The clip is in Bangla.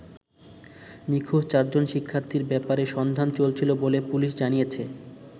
নিখোঁজ চারজন শিক্ষার্থীর ব্যাপারে সন্ধান চলছিল বলে পুলিশ জানিয়েছে।